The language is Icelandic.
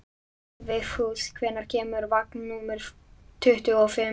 Vigfús, hvenær kemur vagn númer tuttugu og fimm?